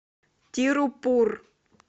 тируппур